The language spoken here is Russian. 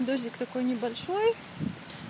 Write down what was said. дождик такой небольшой